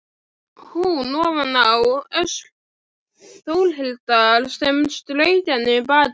Hún ofaná öxl Þórhildar sem strauk henni um bakið.